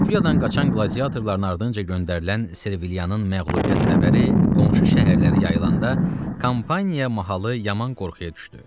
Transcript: Kapuyadan qaçan qladiatorların ardınca göndərilən Servilianın məğlubiyyət xəbəri qonşu şəhərlərə yayılana da Kampaniya mahalı yaman qorxuya düşdü.